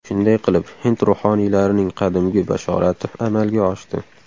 Shunday qilib, hind ruhoniylarining qadimgi bashorati amalga oshdi.